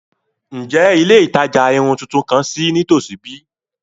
Njẹ ile itaja irun tuntun kan ṣii nitosi bi?